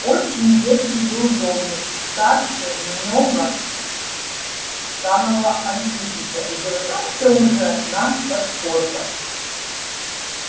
очень ветхий был домик старше много самого антипыча и держался уже на подпорках